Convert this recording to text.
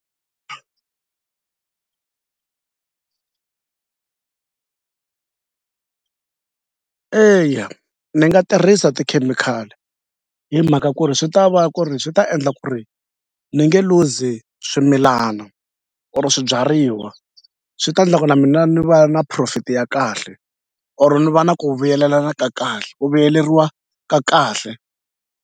Eya ni nga tirhisa tikhemikhali hi mhaka ku ri swi ta va ku ri swi ta endla ku ri ni nge luzi swimilana or swibyariwa swi ta ndla ku na mina ni va na profit ya kahle or ni va na ku vuyelelana kahle ku vuyeleriwa ka kahle.